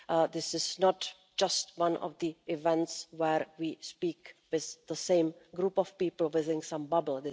This is not just one of those events where we speak with the same group of people within some bubble.